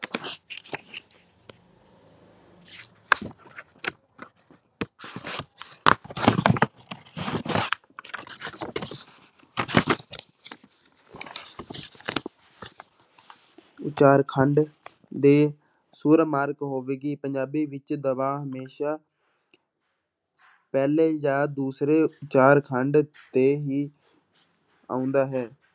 ਉਚਾਰਖੰਡ ਦੇ ਸੁਰ ਮਾਰਗ ਹੋਵੇਗੀ, ਪੰਜਾਬੀ ਵਿੱਚ ਦਬਾਅ ਹਮੇਸ਼ਾ ਪਹਿਲੇ ਜਾਂ ਦੂਸਰੇ ਉਚਾਰਖੰਡ ਤੇ ਵੀ ਆਉਂਦਾ ਹੈ।